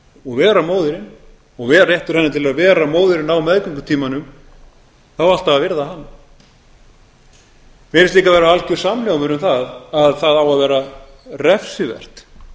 og vera móðirin og réttur hennar til að vera móðirin á meðgöngutímanum það á alltaf að virða hann mér finnst líka vera alger samhljómur um að það á að vera refsivert